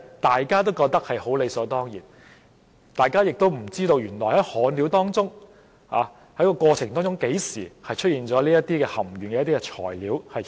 大家覺得理所當然的事卻出現了一個盲點，不知為何在施工過程中何時出現了含鉛材料。